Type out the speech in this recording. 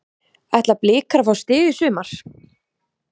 Ætla blikar að fá stig í sumar?